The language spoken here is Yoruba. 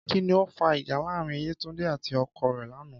Kí ni ó fa ìjà láàárín Yétúndé àti ọkọ rẹ̀ lánàá?